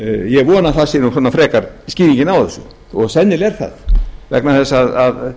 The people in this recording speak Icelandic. ég vona að það sé frekar skilin á þessu og sennilega er það vegna þess að